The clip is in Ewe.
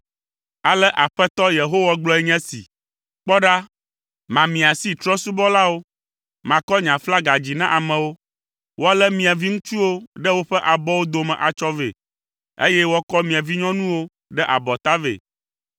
Ale Aƒetɔ, Yehowa gblɔe nye esi, “Kpɔ ɖa, mamia asi Trɔ̃subɔlawo, makɔ nye aflaga dzi na amewo. Woalé mia viŋutsuwo ɖe woƒe abɔwo dome atsɔ vɛ, eye woakɔ mia vinyɔnuwo ɖe abɔta vɛ.